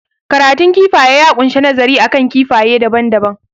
Karatun kifaye ya kunshi nazari akan kifaye daban daban